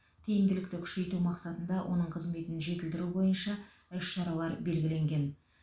тиімділікті күшейту мақсатында оның қызметін жетілдіру бойынша іс шаралар белгіленген